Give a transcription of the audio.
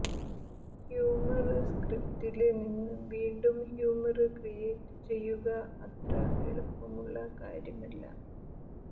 humour സ്ക്രിപ്റ്റില് നിന്ന് വീണ്ടും ഹ്യൂമര് ക്രിയേറ്റ് ചെയ്യുക അത്ര എളുപ്പമുള്ള കാര്യമല്ല